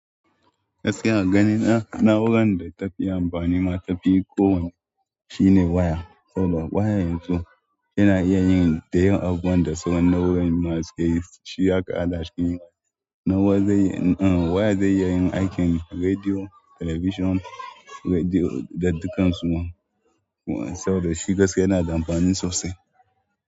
Gaskiya a gani na, na waya wanda ta fi amfani ma ta fi kowanne shine waya. Saboda waya yanzu yana iya yin ta yin abubuwan da sauran nau'o'in masu gaisuwa aka haɗa su. Waya zai iya yin aikin rediyo, telebijin, rediyo da dukkan su ma. Saboda shi gaskiya yana da amfani sosai.